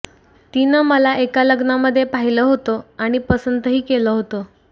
तिनं मला एका लग्नामध्ये पाहिलं होतं आणि पसंतही केलं होतं